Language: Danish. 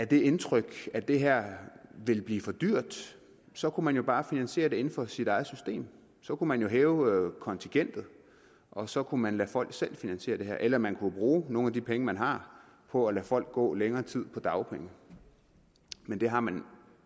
det indtryk at det her ville blive for dyrt så kunne man jo bare finansiere det inden for sit eget system så kunne man jo hæve kontingentet og så kunne man lade folk selv finansiere det her eller man kunne bruge nogle af de penge man har på at lade folk gå længere tid på dagpenge men det har man